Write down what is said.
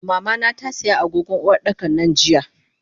Mamana tasiya agogon Uwardakan nan jiya.